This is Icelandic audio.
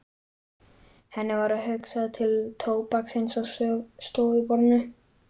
Henni varð hugsað til tóbaksins á stofuborðinu.